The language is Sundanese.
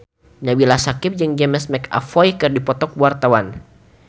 Nabila Syakieb jeung James McAvoy keur dipoto ku wartawan